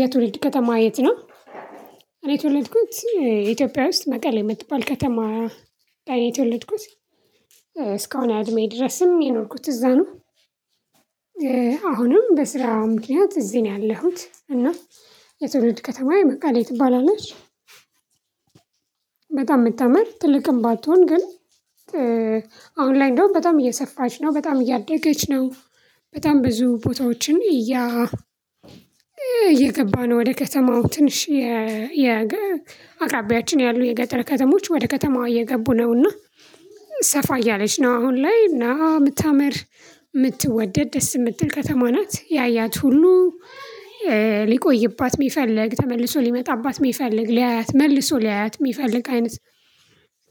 የትወልድ ከተማ የት ነው? እኔ የተወልድኩት ኢትዮጵያ ውስጥ መቀሌ የምትባል ከተማ እኔ ተወልድኩት እስካሁን አድሜ ድረስም የኖርኩት እዛ ነው። አሁንም በስራው ምክንያት እዚህ ነው ያለሁት እና የትውልድ ከተማ የመቀሌ ትባላለች። በጣም የምታምር ትልቅም ባትሆን ግን። አሁን ላይ እንደውም በጣም እየሰፋች ነው በጣም እያደገች ነው። በጣም ብዙ ቦታዎችን እያ እየገባ ነው ወደ ከተማው ትንሽ የ አቅራቢያችን ያሉ የገጠር ከተሞች ወደ ከተማው እየገቡ ነውና። ሰፋ እያለች ነው አሁን ላይ እና የምታምር የምትወደድ ደስ የምትል ከተማ ናት። ያያት ሁሉ ሊቆይባት የሚፈልግ ተመልሶ ሊመጣባት የሚፈልግ ሊያያት መልሶ ሊያያት የሚፈልግ አይነት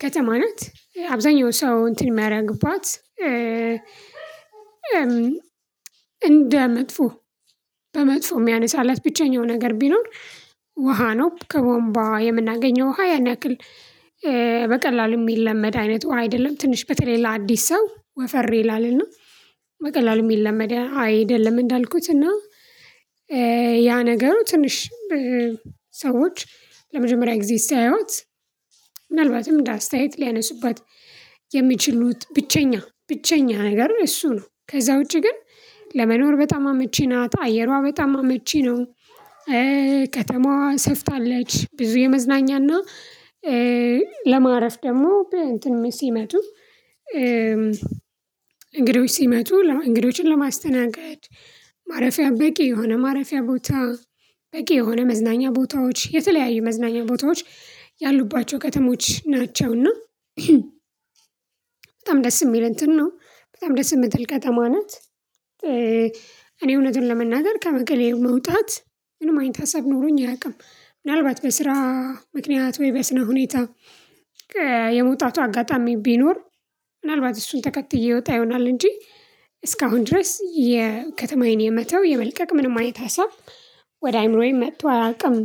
ከተማ ናት። አብዛኛው ሰው እንትን የሚያደርግባት። እንደ መጥፎ በመጥፎ የሚያነሳላት ብቸኛው ነገር ቢኖር ውሃ ነው። ከቧንቧ የምናገኘው ውሃ ያን ያክል በቀላሉ የሚለመድ አይነት ውሃ አይደለም። ትንሽ በተለይ ለአዲስ ሰው ወፈር ይላልና በቀላሉ የሚለመድ አይደለም። እንዳልኩት እና ያ ነገሩ ትንሽ ሰዎች ለመጀመሪያ ጊዜ ሲያዩት ምናልባትም ለአስተያየት ሊያነሱባት የሚችሉት ብቸኛ ብቸኛ ሀገር እሱ ነው። ከዛ ውጪ ግን ለመኖር በጣም አመቺ ናት አየሯ በጣም አመቺ ነው። ከተማዋ ሰፍታለች ብዙ የመዝናኛና ለማረፍ ደግሞ እንትን ሲመጡ እንግዶች ሲመጡ እንግዶችን ለማስተናገድ ማረፊያ በቂ የሆነ ማረፊያ ቦታ በቂ የሆነ መዝናኛ ቦታዎች የተለያዩ መዝናኛ ቦታዎች ያሉባቸው ከተሞች ናቸውና። በጣም ደስ የሚል እንትን ነው በጣም ደስ የምትል ከተማ ናት። እኔ እውነትን ለመናገር ከመቀሌ መውጣት ምንም አይነት ሀሳብ ኖሮኝ አያውቅም። ምናልባት በስራ ምክንያት ወይ በስነ ሁኔታ የመውጣቱ አጋጣሚ ቢኖር ምናልባት እሱን ተከትዬ ወጣ ይሆናል እንጂ። እስካሁን ድረስ የከተማዬን የመተው የመልቀቅ ምንም አይነት ሀሳብ ወደ አእምሮዬ መጥቶ አላውቅም።